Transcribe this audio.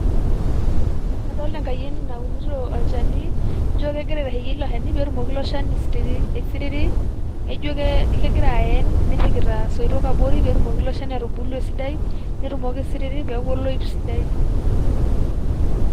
Kadolita enkayioni naunito olchani jio kegira ake aitasheyie ilo shani aisiriri naaijio ke gira ayen nepikita abori peetumoki ilo shani atubulu esidai netumoki aisiriri peetumoki aaku oloip sidai .